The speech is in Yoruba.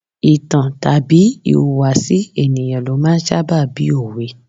Ìtàn tàbí ìhùwàsí ènìyàn ló máa ń sábà bí òwe.